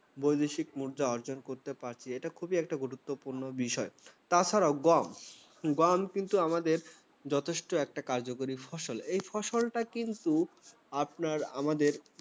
বৈদেশিক মুদ্রা অর্জন করতে পারছি। এটা খুব একটা গুরুত্বপূর্ণ বিষয় ৷ তাছাড়াও গম, গম কিন্তু আমাদের যথেষ্ট একটা কার্যকরী ফসল এই ফসলটা কিন্তু আপনার, আমাদের